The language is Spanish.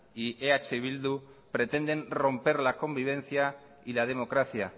y eh bildu pretenden romper la convivencia y la democracia